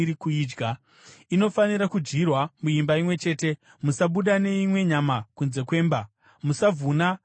“Inofanira kudyirwa muimba imwe chete; musabuda neimwe nyama kunze kwemba. Musavhuna kana bvupa.